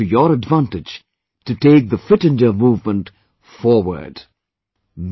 Use the weather to your advantage to take the 'Fit India Movement 'forward